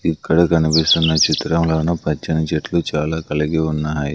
ఇక్కడ కనిపిస్తున్న చిత్రంలోను పచ్చని చెట్లు చాలా కలిగి ఉన్నాయి.